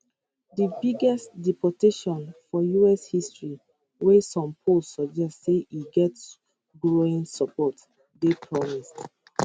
di biggest deportation for us history wey some polls suggest say e get growing support dey promised